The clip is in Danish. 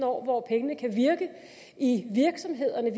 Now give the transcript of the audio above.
år hvor pengene kan virke i virksomhederne og